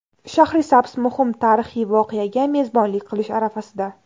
Shahrisabz muhim tarixiy voqeaga mezbonlik qilish arafasida.